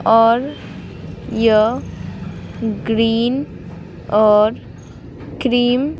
और यह ग्रीन और क्रीम --